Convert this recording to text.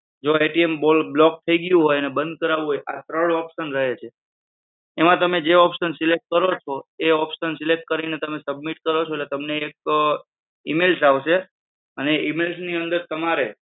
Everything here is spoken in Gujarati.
જો block થઈ ગયું હોય અને બંધ કરાવવું હોય તો આ ત્રણ option રહે છે. એમાં તમે જે option select કરો છો એ option select કરીને તમે submit કરો છો એટલે તમને એક email આવશે અને email ની અંદર તમારે